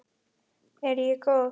Er ég góð?